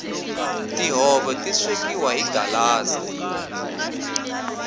tihove ti swekiwa hi galaza